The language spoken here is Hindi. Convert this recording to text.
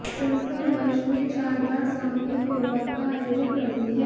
संस्था वर्ष में चार बार सामूहिक विवाह का आयोजन करती है